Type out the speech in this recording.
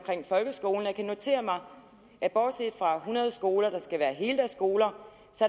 folkeskolen og jeg kan notere mig at bortset fra hundrede skoler der skal være heldagsskoler